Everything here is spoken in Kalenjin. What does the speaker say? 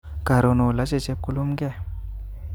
Koron oloche chepkolumke